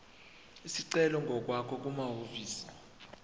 isicelo ngokwakho kumahhovisi